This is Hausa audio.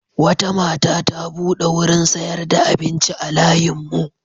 Wata mata ta buɗe wurin sayar da abinci a layinmu.